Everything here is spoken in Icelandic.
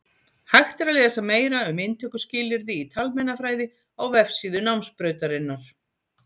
Hægt er að lesa meira um inntökuskilyrði í talmeinafræði á vefsíðu námsbrautarinnar.